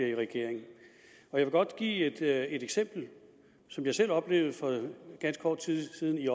i regering jeg vil godt give et eksempel som jeg selv har oplevet for ganske kort tid siden i